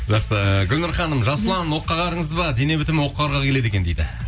жақсы гүлнұр ханым жасұлан оққағарыңыз ба дене бітімі оққағарға келеді екен дейді